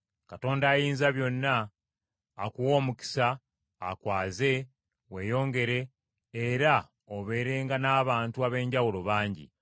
Katonda Ayinzabyonna akuwe omukisa, akwaze, weeyongere, era obeerenga n’abantu ab’enjawulo bangi.